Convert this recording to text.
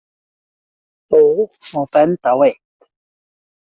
Þó má benda á eitt.